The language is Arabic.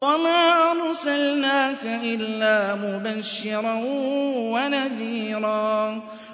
وَمَا أَرْسَلْنَاكَ إِلَّا مُبَشِّرًا وَنَذِيرًا